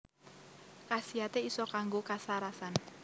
Khasiate iso kanggo kasarasan